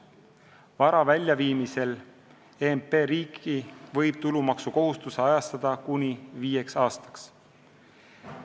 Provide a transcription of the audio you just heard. Vara väljaviimisel EMP riiki võib tulumaksukohustuse kuni viieks aastaks ajatada.